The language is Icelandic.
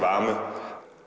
að